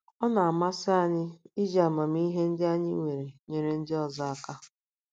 Ọ na - amasị anyị iji amamihe ndị anyị nwere nyere ndị ọzọ aka. ”